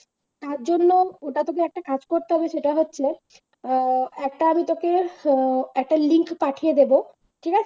তার জন্য ওটা থেকে একটা কাজ করতে হবে সেটা হচ্ছে আহ একটা আমি তোকে আহ link পাঠিয়ে দেবো ঠিক আছে।